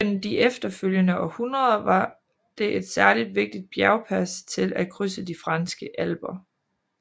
Gennem de følgende århundreder var det et særligt vigtigt bjergpas til at krydse de franske alper